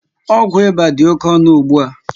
Ọgwụ ịba dị oké ọnụ ugbua